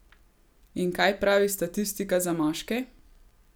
In kaj pravi statistika za moške?